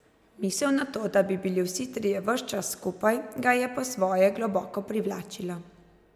Misel na to, da bi bili vsi trije ves čas skupaj, ga je po svoje globoko privlačila.